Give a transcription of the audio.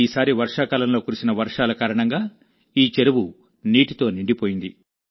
ఈసారి వర్షాకాలంలో కురిసిన వర్షాల కారణంగా ఈ చెరువు నీటితో నిండిపోయింది